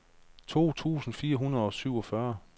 to tusind fire hundrede og syvogfyrre